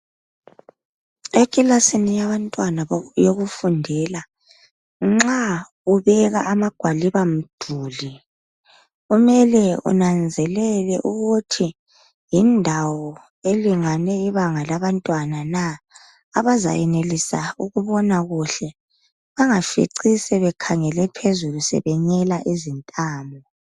Ekilasini yabantwana yokufundela nxa ubeka amagwaliba mduli kumele unanzelele ukuthi yindawo elingene ibanga labantwana na abazayenelisa ukubona kuhle ungafinci sebekhangele phezulu sebenyela izintamo.